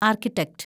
architect